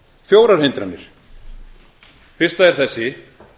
fjórar hindranir fyrsta er þessi